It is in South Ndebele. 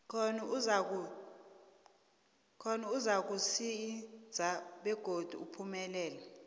khona uzakuzinza begodi uphumelele